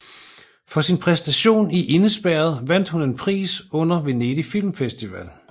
For sin præstation i Indespærret vandt hun en pris under Venedig Film Festival